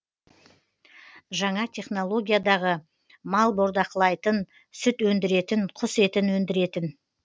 жаңа жаңа технологиядағы мал бордақылайытын сүт өндіретін құс етін өндіретін